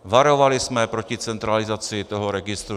Varovali jsme proti centralizaci toho registru.